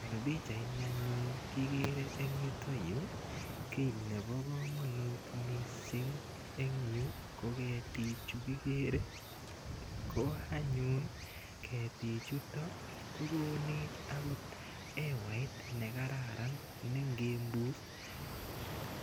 Eng' pichaini anyun kekere eng' yutayu kele pa kamanut missing' eng' yu ko ketichu kikere. Ko anyun ketichutok ko konetbakot hewait ne kararan ne ngipus ko kararan.